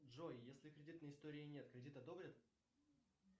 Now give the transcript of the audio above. джой если кредитной истории нет кредит одобрят